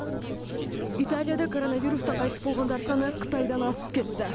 италияда коронавирустан қайтыс болғандар саны қытайдан асып кетті